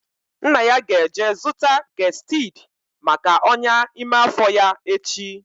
Nna ya ga-eje zụta gestid maka ọnyá ime afọ ya echi